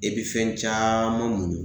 E bi fɛn caaman muɲu